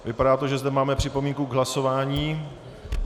Vypadá to, že zde máme připomínku k hlasování.